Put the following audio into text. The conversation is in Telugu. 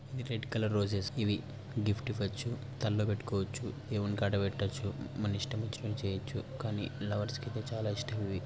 ఈ రెడ్ కలర్ రొసెస్ ఇవి గిఫ్ట్ ఇవోచు తలలో పెట్టుకోచ్చు దేవుని కాడ పెట్టొచ్చు మన ఇష్టం వచ్చినట్టు చేయొచ్చు కానీ లవర్స్ కి అయితే చాలా ఇష్టం ఇవి.